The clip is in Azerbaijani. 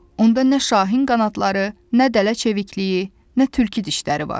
Onda nə şahin qanadları, nə dələ çevikliyi, nə tülkü dişləri var.